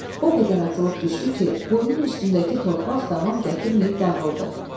O qədər atılıb düşdü ki, quyunun üstündəki torpaq davam gətirməyib dağıldı.